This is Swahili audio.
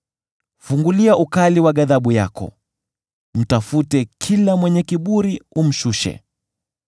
Fungulia ukali wa ghadhabu yako, mtafute kila mwenye kiburi umshushe,